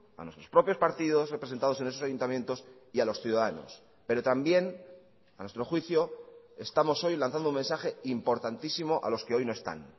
a nuestros propios partidos representados en esos ayuntamientos y a los ciudadanos pero también a nuestro juicio estamos hoy lanzando un mensaje importantísimo a los que hoy no están